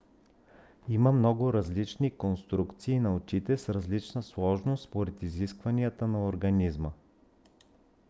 има много различни конструкции на очите с различна сложност според изискванията на организма